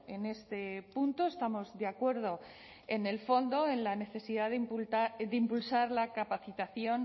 en este punto estamos de acuerdo en el fondo en la necesidad de impulsar la capacitación